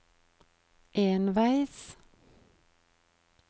enveis